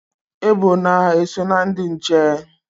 Ebona eso na ndị nche?